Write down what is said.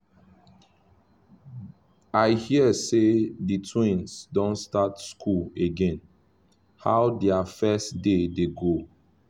i hear say the twins don start school again — how their first day dey go?